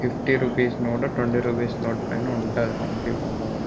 Fifty rupees note twenty rupees note పైనా ఉంటది. హంపి బొమ్మ కూడా--